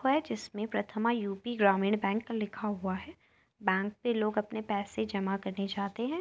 व जिसमें Prathama UP. Gramin bank लिखा हुआ है। बैंक में लोग आपने पैसे जमा करने जाते हैं।